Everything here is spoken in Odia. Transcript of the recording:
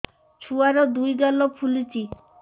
ଛୁଆର୍ ଦୁଇ ଗାଲ ଫୁଲିଚି